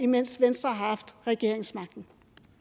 mens venstre har haft regeringsmagten